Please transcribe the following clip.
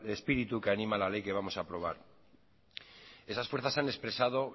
espíritu que anima la ley que vamos a aprobar esas fuerzas se han expresado